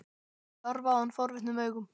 Þau horfa á hann forvitnum augum.